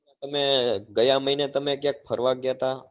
અને ગયા મહીને તમે ક્યાંક ફરવા ગયા હતા?